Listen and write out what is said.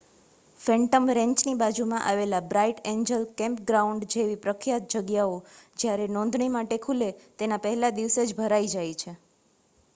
phantom રેંચની બાજુમાં આવેલા બ્રાઇટ એન્જલ કેમ્પગ્રાઉન્ડ જેવી પ્રખ્યાત જગ્યાઓ જયારે નોંધણી માટે ખુલે તેના પહેલા દિવસે જ ભરાય જાય છે